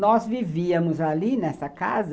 Nós vivíamos ali, nessa casa.